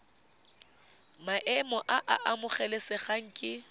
maemo a a amogelesegang ke